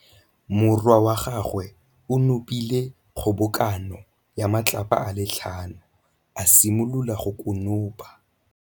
Morwa wa gagwe o nopile kgobokanô ya matlapa a le tlhano, a simolola go konopa.